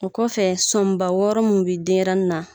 O kɔfɛ sonba wɔɔrɔ mun bi denyɛrɛni na